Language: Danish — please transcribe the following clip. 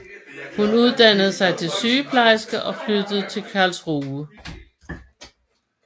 Hun uddannede sig til sygeplejerske og flyttede til Karlsruhe